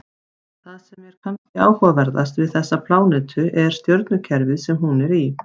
Það sem er kannski áhugaverðast við þessa plánetu er stjörnukerfið sem hún er í.